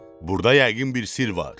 Burda yəqin bir sirr var.